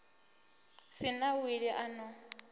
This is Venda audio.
si na wili a no